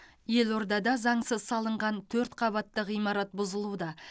елордада заңсыз салынған төрт қабатты ғимарат бұзылуда